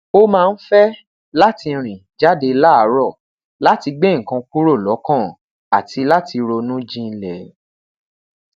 o maa n fẹ lati rin jade laaarọ lati gbe nnkan kuro lọkan ati lati ronu jinlẹ